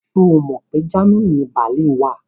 Ṣo Mọ pé Germany ni Berlin wà?